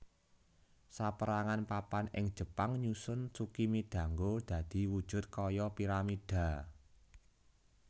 Saperangan papan ing Jepang nyusun tsukimidango dadi wujud kaya piramidha